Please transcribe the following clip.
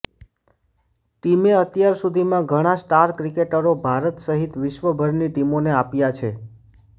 ટીમે અત્યાર સુધીમાં ઘણા સ્ટાર ક્રિકેટરો ભારત સહિત વિશ્વભરની ટીમોને આપ્યા છે